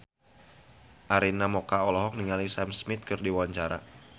Arina Mocca olohok ningali Sam Smith keur diwawancara